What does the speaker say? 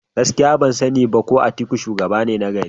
Gaskiya! ban sani ba ko Atuku shugaba ne nagari.